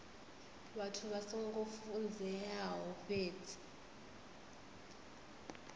vhathu vha songo funzeaho fhedzi